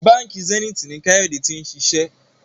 Bánkì Zenith ní Kayode t'in ṣiṣẹ